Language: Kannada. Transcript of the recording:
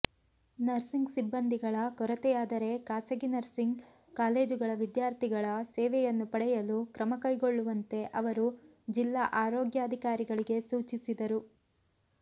ನರ್ಸಿಂಗ್ ಸಿಬ್ಬಂದಿಗಳ ಕೊರತೆಯಾದರೆ ಖಾಸಗಿ ನರ್ಸಿಂಗ್ ಕಾಲೇಜುಗಳ ವಿದ್ಯಾರ್ಥಿಗಳ ಸೇವೆಯನ್ನು ಪಡೆಯಲು ಕ್ರಮ ಕೈಗೊಳ್ಳುವಂತೆ ಅವರು ಜಿಲ್ಲಾ ಆರೋಗ್ಯಾಧಿಕಾರಿಗಳಿಗೆ ಸೂಚಿಸಿದರು